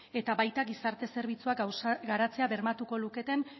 eta baita gizarte zerbitzuak garatzea bermatuko luketen